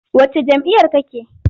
Wacce jam'iyyar kake?